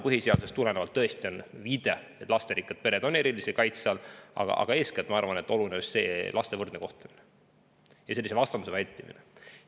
Põhiseaduses on tõesti eraldi viide, et lasterikkad pered on erilise kaitse all, aga ma arvan, oluline on eeskätt laste võrdne kohtlemine ja sellise vastandamise vältimine.